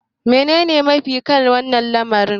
menene mafita? akan wannan lamari